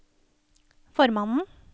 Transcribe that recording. formannen